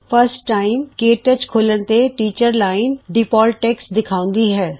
ਪਹਿਲੀ ਵਾਰ K touch ਖੋਲ੍ਹਣ ਤੇ ਟੀਚਰ ਅਧਿਆਪਕ ਲਾਈਨ ਡਿਫਾਲਟ ਟੈਕ੍ਸਟ ਦਿਖਾਉਂਦਾ ਹੈ